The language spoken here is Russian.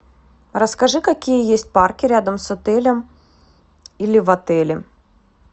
расскажи какие есть парки рядом с отелем или в отеле